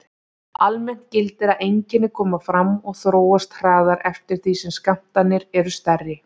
Almennt gildir að einkenni koma fram og þróast hraðar eftir því sem skammtarnir eru stærri.